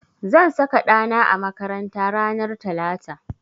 Zan saka ɗa na a makaranta ranar talata.